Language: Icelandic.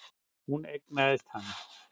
Hún eignaðist hann.